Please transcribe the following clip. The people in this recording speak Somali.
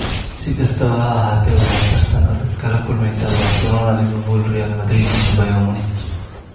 Si kastaba ha ahaatee, waxa ay tartan adag kala kulmeysaa Barcelona, Liverpool, Real Madrid iyo Bayern Munich.